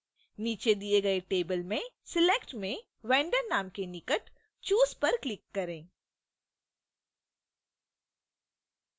नीचे दिए गए table में select: में vendor name के निकट choose पर click करें